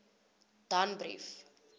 danbrief